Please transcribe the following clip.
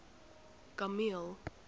kameel